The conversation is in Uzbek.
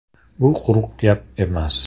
“Bu quruq gap emas.